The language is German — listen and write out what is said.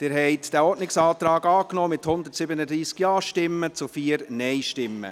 Sie haben den Ordnungsantrag angenommen, mit 137 Ja- gegen 4 Nein-Stimmen angenommen.